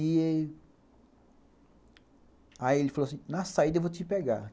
E aí ele falou assim, na saída eu vou te pegar.